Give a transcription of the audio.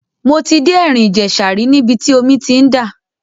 Mo ti dé ẹ̀rìn ìjẹ̀ṣà rí níbi tí omi ti ń dà.